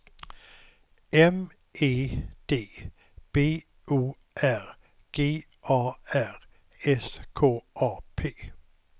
M E D B O R G A R S K A P